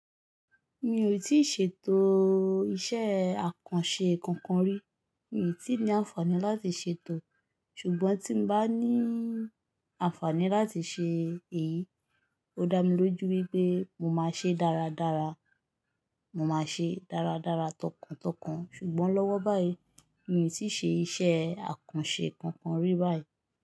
Mi ò tí ì ṣètò iṣẹ́ àkànṣe kankan rí, mi ò tí ní àǹfààní láti ṣètò, ṣùgbọ́n tí n bá ní àǹfààní láti ṣe èyí, o dá mi lójú wípé mo máa ṣe dáradára, mo máa ṣe dáradára tọkàntọkàn. Ṣùgbọ́n lọ́wọ́ báyìí mi ò tí ì ṣe iṣẹ́ àkànṣe kankan rí báyìí.